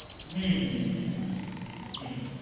হম হম হম হম হম